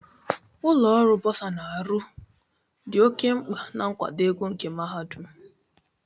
Ụlọ ọrụ buosa na-arụ ọrụ dị oke mkpa na nkwado ego nke mahadum.